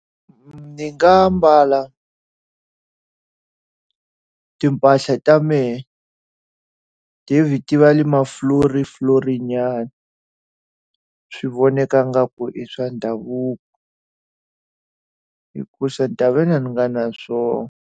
Ni nga mbala timpahla ta mehe ti va na mafloriflorinyana swi vonaka ingaku i swa ndhavuko. Hikuva ni ta ve ni nga ri na swona.